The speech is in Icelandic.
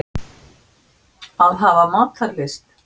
Að hafa matarlyst.